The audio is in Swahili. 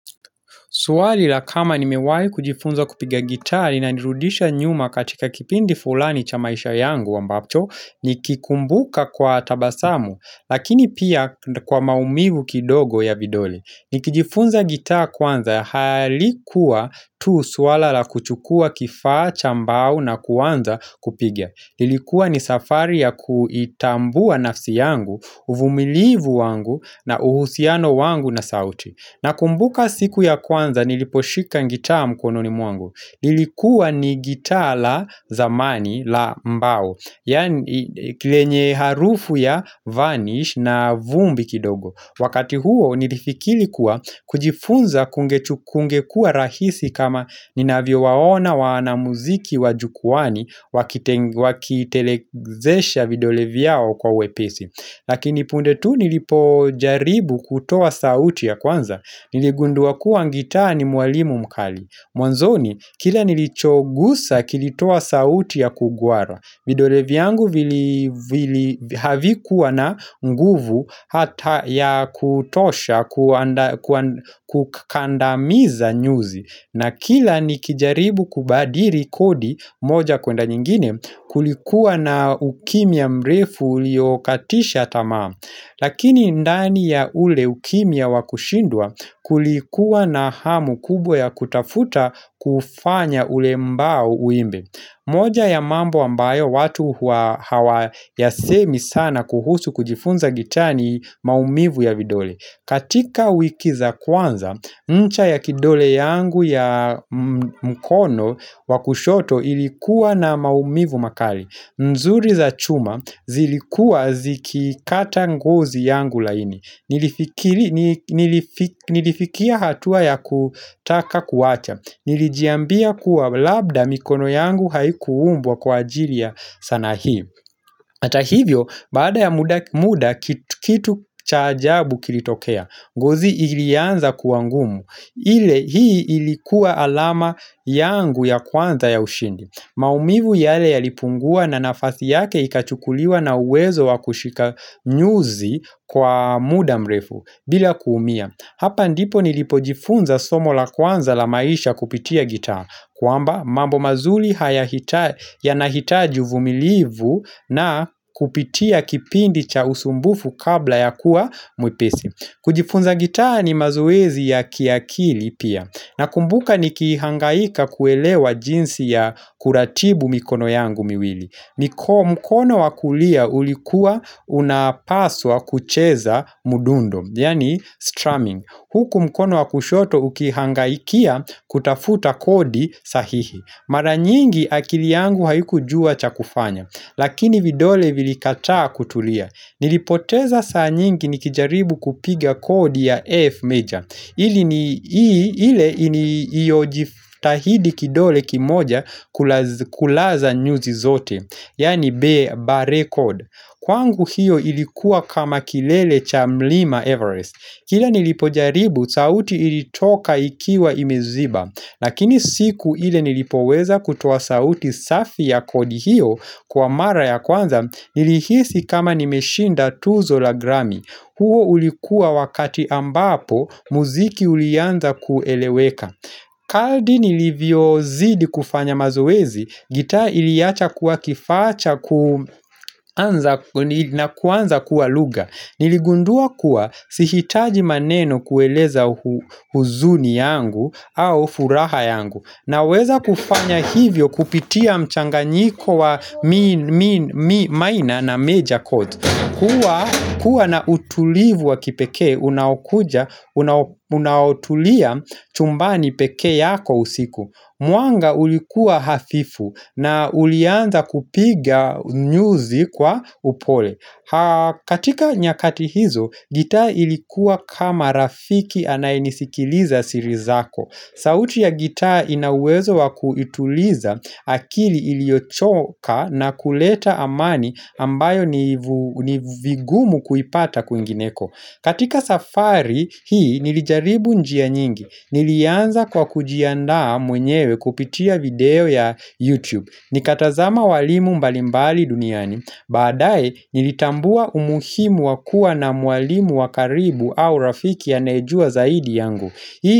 Swali la kama nimewai kujifunza kupiga gitaa inanirudisha nyuma katika kipindi fulani cha maisha yangu ambacho, ni kikumbuka kwa tabasamu, lakini pia kwa maumivu kidogo ya vidole. Ni kijifunza gitaa kwanza, halikuwa tu suala la kuchukua kifaa, chambao na kwanza kupigia. Ilikuwa ni safari ya kuitambua nafsi yangu, uvumilivu wangu na uhusiano wangu na sauti. Na kumbuka siku ya kwanza niliposhika ngitaa mkono ni mwangu. Lilikuwa ni gitaa la zamani la mbao. Yaani lenye harufu ya vanish na vumbi kidogo. Wakati huo nilifikili kuwa kujifunza kungekua rahisi kama ninavyo waona waana muziki wa jukwaani wakitelezesha videolevyao kwa wepesi. Lakini pundetu nilipo jaribu kutoa sauti ya kwanza niligundua kuwa ngitaa ni mwalimu mkali Mwanzoni kila nilichogusa kilitoa sauti ya kugwara vidole yangu havikuwa na nguvu hata ya kutosha kukandamiza nyuzi na kila nikijaribu kubadiri kodi moja kwenda nyingine kulikuwa na ukimya mrefu uliokatisha tamaa Lakini ndani ya ule ukimya wakushindwa kulikuwa na hamu kubwa ya kutafuta kufanya ule mbao uimbe moja ya mambo ambayo watu hawa ya semi sana kuhusu kujifunza gitani maumivu ya vidole katika wiki za kwanza, ncha ya kidole yangu ya mkono wakushoto ilikuwa na maumivu makali nzuri za chuma zilikua zikikata ngozi yangu laini Nilifikia hatua ya kutaka kuacha Nilijiambia kuwa labda mikono yangu haikuumbwa kwa ajili ya sanaa hii Atahivyo, baada ya muda kitu cha ajabu kilitokea ngozi ilianza kuwa ngumu ile hii ilikuwa alama yangu ya kwanza ya ushindi maumivu yale ya lipungua na nafasi yake ikachukuliwa na uwezo wa kushika nyuzi kwa muda mrefu bila kuumia Hapa ndipo nilipojifunza somo la kwanza la maisha kupitia gitaa kwamba mambo mazuri yanahitaji uvumilivu na kupitia kipindi cha usumbufu kabla ya kuwa mwepesi kujifunza gitaa ni mazoezi ya kiakili pia, na kumbuka ni kiihangaika kuelewa jinsi ya kuratibu mikono yangu miwili. Mkono wakulia ulikua unapaswa kucheza mdundo, yaani strumming. Huku mkono wakushoto ukiihangaikia kutafuta kodi sahihi. Maranyingi akili yangu haiku jua cha kufanya, lakini vidole vilikataa kutulia. Nilipoteza saa nyingi nikijaribu kupiga kodi ya F major ili ni iyojitahidi kidole kimoja kulaza nyuzi zote Yani B bar record Kwangu hiyo ilikuwa kama kilele cha mlima Everest Kila nilipojaribu sauti ilitoka ikiwa imeziba Lakini siku ile nilipoweza kutoa sauti safi ya kodi hiyo Kwa mara ya kwanza, nilihisi kama nimeshinda tuzo la grami huo ulikua wakati ambapo, muziki ulianza kueleweka Kardi nilivyo zidi kufanya mazoezi, gitaa iliacha kuwa kifaa cha na kuanza kuwa lugha Niligundua kuwa, sihitaji maneno kueleza huzuni yangu au furaha yangu na weza kufanya hivyo kupitia mchanganyiko wa minor na major codes kuwa na utulivu wa kipekee, unaokuja unaotulia chumbani peke yako usiku muanga ulikua hafifu na ulianza kupiga nyuzi kwa upole katika nyakati hizo, gitaa ilikuwa kama rafiki anayenisikiliza siri zako sauti ya gitaa inawezo wa kuituliza akili iliochoka na kuleta amani ambayo ni vigumu kuipata kwingineko. Katika safari hii nilijaribu njia nyingi. Nilianza kwa kujiandaa mwenyewe kupitia video ya YouTube. Nikatazama walimu mbalimbali duniani. Badae nilitambua umuhimu wakua na mwalimu wakaribu au rafiki anayejua zaidi yangu.